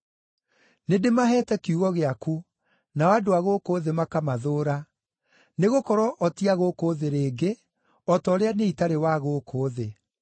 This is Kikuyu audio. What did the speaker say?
Nĩndĩmaheete kiugo gĩaku, nao andũ a gũkũ thĩ makamathũũra, nĩgũkorwo o ti a gũkũ thĩ rĩngĩ, o ta ũrĩa niĩ itarĩ wa gũkũ thĩ.